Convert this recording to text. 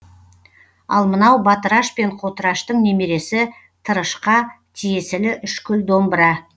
ал мынау батыраш пен қотыраштың немересі тырышқа тиесілі үшкіл домбыра